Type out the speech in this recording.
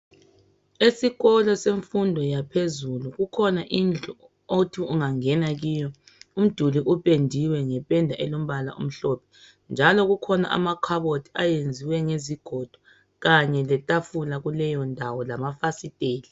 Esikolo semfundo yaphezulu kukhona indlu othi ungangena kiyo umduli upendiwe ngependa elombala omhlophe njalo kukhona amakhabothi ayenziwe ngezigodo kanye letafula kuleyo ndawo ,lamafasiteli.